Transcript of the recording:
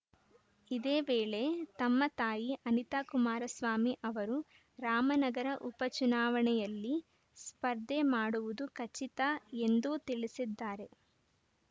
ಇದೇ ವೇಳೆ ತಮ್ಮ ತಾಯಿ ಅನಿತಾ ಕುಮಾರಸ್ವಾಮಿ ಅವರು ರಾಮನಗರ ಉಪಚುನಾವಣೆಯಲ್ಲಿ ಸ್ಪರ್ಧೆ ಮಾಡುವುದು ಖಚಿತ ಎಂದೂ ತಿಳಿಸಿದ್ದಾರೆ